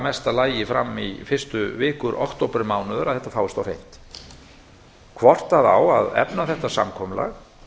mesta lagi fram í fyrstu vikur októbermánaðar að það fáist á hreint hvort efna á þetta samkomulag